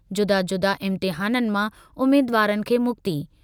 जुदा-जुदा इम्तिहाननि मां उमीदवारनि खे मुक्ति।